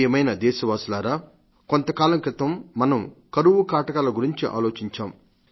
ప్రియమైన దేశవాసులారా కొంతకాలం క్రితం మనం కరువు కాటకాల గురించి ఆలోచించాం